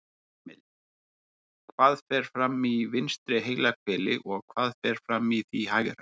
Heimild: Hvað fer fram í vinstra heilahveli og hvað fer fram í því hægra?